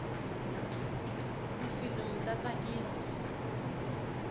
tifilimu ta tsakisa